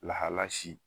Lahala si